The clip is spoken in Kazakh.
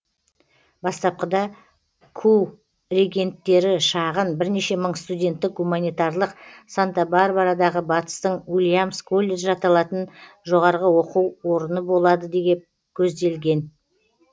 бастапқыда ку регенттері шағын бірнеше мың студенттік гуманитарлық санта барбарадағы батыстың уильямс колледжі аталатын жоғары оқу орны болады деп көздеген